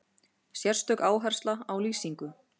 Sérstök áhersla á lýsingu.